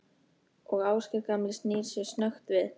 Og Ásgeir gamli snýr sér snöggt við.